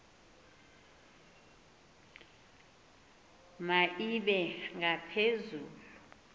ma ibe ngaphezulu